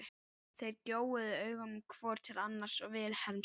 Þeir gjóuðu augunum hvor til annars og Vilhelm sagði